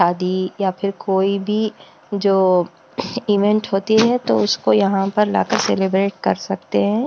शादी या फिर कोई भी जो इवेंट होती है तो उसको यहाँ पर लाकर सेलिब्रेट कर सकते हैं।